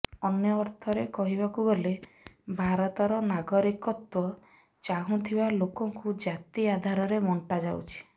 ଅନ୍ୟ ଅର୍ଥରେ କହିବାକୁ ଗଲେ ଭାରତର ନାଗରିକତ୍ବ ଚାହୁଁଥିବା ଲୋକଙ୍କୁ ଜାତି ଆଧାରରେ ବଣ୍ଟା ଯାଉଛି